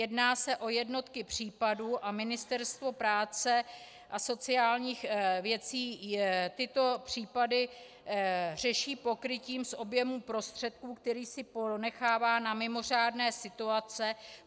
Jedná se o jednotky případů a Ministerstvo práce a sociálních věcí tyto případy řeší pokrytím z objemu prostředků, který si ponechává na mimořádné situace.